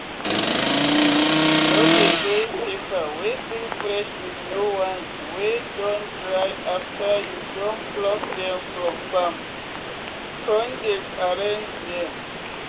no dey join pepper wey still fresh with de ones wey don dry after you don pluck dem from farm con dey arrange dem.